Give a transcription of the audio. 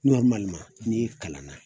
n'i kalan na